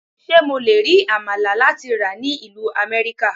Ṣé mo le rí Àmàlà láti rà ní ìlú Amẹ́ríkà?